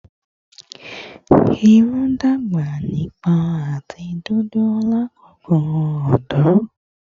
Irun dagba nipon ati dudu lakoko ọdọ